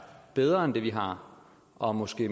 bedre end det vi har og måske